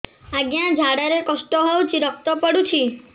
ଅଜ୍ଞା ଝାଡା ରେ କଷ୍ଟ ହଉଚି ରକ୍ତ ପଡୁଛି